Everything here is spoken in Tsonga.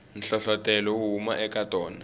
nhlohlotelo wu huma eka tona